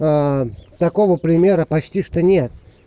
такого примера почти что нет